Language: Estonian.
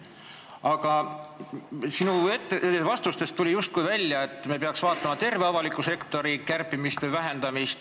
Aga sinu vastustest tuli justkui välja, et me peaks vaatama terve avaliku sektori vähendamist.